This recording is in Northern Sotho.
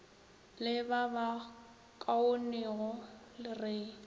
le ba ba kaonego re